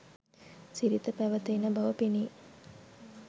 සිරිත පැවත එන බව පෙනේ.